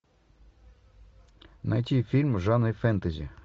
найти фильм в жанре фэнтези